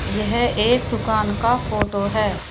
यह एक दुकान का फोटो है।